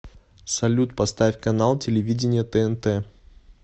салют поставь канал телевидения тнт